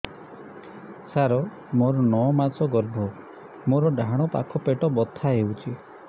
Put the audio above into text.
ସାର ମୋର ନଅ ମାସ ଗର୍ଭ ମୋର ଡାହାଣ ପାଖ ପେଟ ବଥା ହେଉଛି